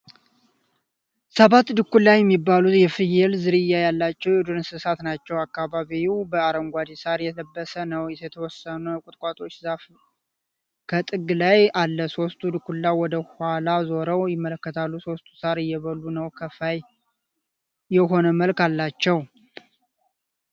ሰባት ዱኩላ የሚባሉ የፍየል ዝርያ ያላቸዉ የዱር እንስሳ ናቸዉ። አካባቢዉ በአረንጓዴ ሳር የለበሰ ነዉ። የተወሰነ ቁጥቋጦ ዛፍ ከጥግ ላይ አለ። ሦስቱ ድኩላ ወደ ኋላ ዞረዉ ይመለከታሉ። ሦስቱ ሳር እየበሉ ነዉ። ከፋይ የሆነ መልክ አላቸዉ።